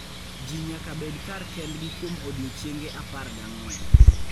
Ji nyaka bed kar kendgi kuom odiechienge apar gang'wen.